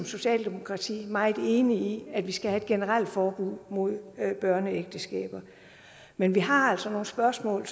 socialdemokratiet er meget enig i at vi skal have et generelt forbud mod børneægteskaber men vi har altså nogle spørgsmål